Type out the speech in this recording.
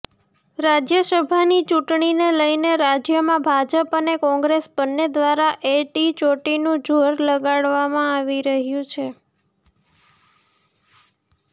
રાજ્યસભાની ચૂંટણીને લઇને રાજ્યમાં ભાજપ અને કોંગ્રેસ બંને દ્વારા એડીચોટીનું જોર લગાવામાં આવી રહ્યું છે